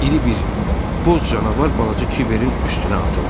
İri bir boz canavar balaca Kiverin üstünə atıldı.